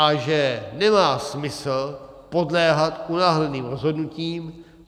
A že nemá smysl podléhat unáhleným rozhodnutím.